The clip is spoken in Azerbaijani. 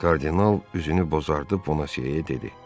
Kardinal üzünü bozardıb Bona Seye dedi: